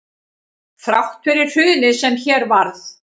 Þrátt fyrir hrunið sem hér varð